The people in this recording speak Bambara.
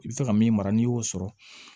I bɛ se ka min mara n'i y'o sɔrɔ